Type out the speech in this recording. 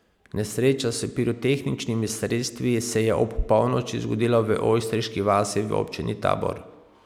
Nesreča s pirotehničnimi sredstvi se je ob polnoči zgodila v Ojstriški vasi v občini Tabor.